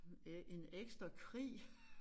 Øh en ekstra krig